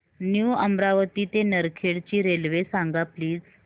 new Amravati ते नरखेड ची railway सांग प्लीज